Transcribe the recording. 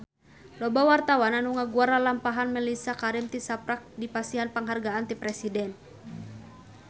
Loba wartawan anu ngaguar lalampahan Mellisa Karim tisaprak dipasihan panghargaan ti Presiden